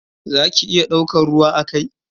Za ki iya daukan ruwa a kai?